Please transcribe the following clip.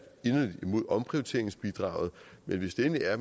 inderligt imod omprioriteringsbidraget men hvis det endelig er at